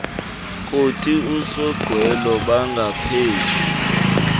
kothi usonqwelo bangaphezu